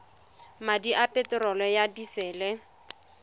madi a peterolo ya disele